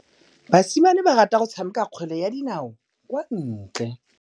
Basimane ba rata go tshameka kgwele ya dinaô kwa ntle.